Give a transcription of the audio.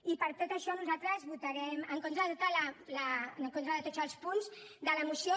i per tot això nosaltres votarem en contra de tots els punts de la moció